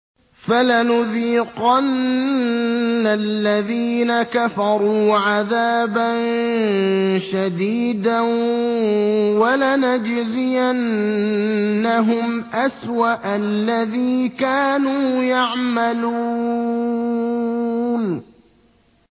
فَلَنُذِيقَنَّ الَّذِينَ كَفَرُوا عَذَابًا شَدِيدًا وَلَنَجْزِيَنَّهُمْ أَسْوَأَ الَّذِي كَانُوا يَعْمَلُونَ